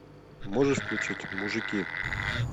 можешь включить мужики